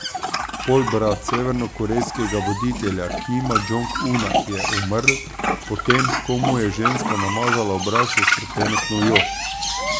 Polbrat severnokorejskega voditelja Kima Džonga Una je umrl po tem, ko mu je ženska namazala obraz s strupeno snovjo.